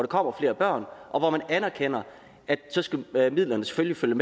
kommer flere børn og hvor man anerkender at midlerne selvfølgelig skal